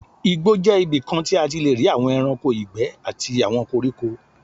Igbó jẹ́ ibikan tí a ti lé rí àwon ẹranko ìgbé àti àwọn koríko.